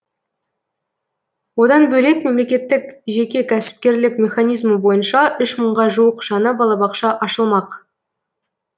одан бөлек мемлекеттік жеке кәсіпкерлік механизмі бойынша үш мыңға жуық жаңа балабақша ашылмақ